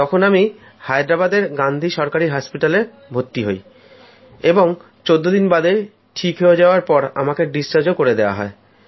তখন আমি হায়দ্রাবাদে গান্ধী সরকারি হাসপাতালে ভর্তি হই এবং চোদ্দদিন বাদে ঠিক হয়ে যাওয়ার পর আমাকে ছেড়ে দেওয়া হয়